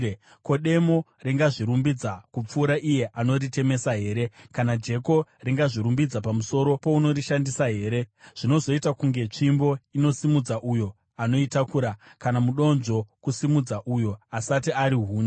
Ko, demo ringazvirumbidza kupfuura iye anoritemesa here? Kana jeko ringazvirumbidza pamusoro pounorishandisa here? Zvinozoita sokunge tsvimbo inosimudza uyo anoitakura, kana mudonzvo kusimudza uyo asati ari huni!